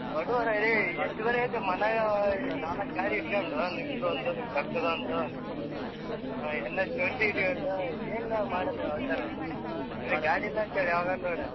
ಬಡವರೆ ರೀ ಎಷ್ಟ್ ಗಾಡಿ ಐತೆ ಮನೆಗ, ನಾಲಕ್ಕು ಗಾಡಿ ಇಟ್ಕೊಂಡು ನಿಂದೊಂದು ನಿಮ್ ಕಾಕ್ಕದೊಂದು NS twenty ಇಟ್ಕೊಂಡ್ ಏನ್ ಲೇ ಮಾಡದು ಅವತರ ಇವ ಗಾಡಿ ಇಲ್ಲ ಅಂತಾನ ಯಾವಾಗನ್ನ ನೋಡು.